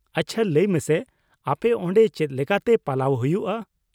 ᱟᱪᱪᱷᱟ ᱞᱟᱹᱭ ᱢᱮᱥᱮ, ᱟᱯᱮ ᱚᱸᱰᱮ ᱪᱮᱫ ᱞᱮᱠᱟᱛᱮ ᱯᱟᱞᱟᱣ ᱦᱩᱭᱩᱜᱼᱟ ?